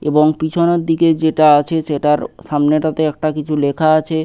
এবং পিছনের দিকে যেটা আছে সেটার সামনেটাতে একটা কিছু লেখা আছে।